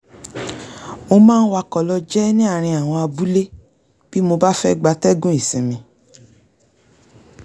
mo máa ń wakọ̀ lọ jẹ́ ní àárín àwọn abúlé bí mo bá fẹ́ gbatẹ́gùn ìsinmi